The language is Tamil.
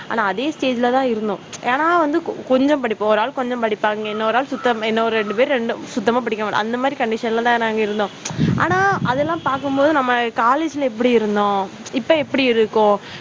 ஆனா அதே stage ல தான் இருந்தோம் ஏன்னா வந்து கொஞ்சம் படிப்போம் ஒரு ஆள் வந்து கொஞ்சம் படிப்பாங்க, இன்னொரு ஆள் சுத்தம் இன்னொரு ரெண்டு பேர் சுத்தமா படிக்க மாட்டாங்க. அந்த மாதிரி, condition ல தான் நான் வந்து இருந்தோம். ஆனால், அதெல்லாம் பார்க்கும் போது நம்ம college ல எப்படி இருந்தோம் இப்போ எப்படி இருக்கும்.